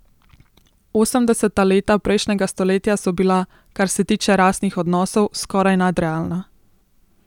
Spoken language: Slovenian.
Osemdeseta leta prejšnjega stoletja so bila, kar se tiče rasnih odnosov, skoraj nadrealna.